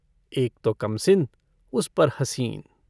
एक तो कमसिन उस पर हसीन।